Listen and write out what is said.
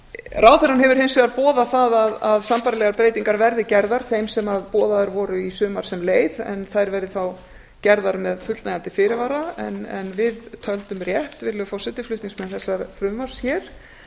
ráðherrann hefur hins vegar boðað það að sambærilegar breytingar verði gerðar þeim sem boðaðar voru í sumar sem leið en þær verði þá gerðar með fullnægjandi fyrirvara en við töldum rétt virðulegi forseti frá þessa frumvarps hér